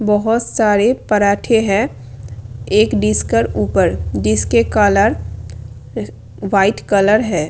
बोहोत सारे पराठे हैं एक डिस्कर ऊपर जिसके कलर वाइट कलर है।